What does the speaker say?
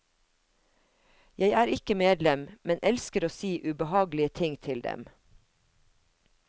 Jeg er ikke medlem, men elsker å si ubehagelige ting til dem.